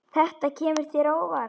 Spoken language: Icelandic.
Þetta kemur þér á óvart.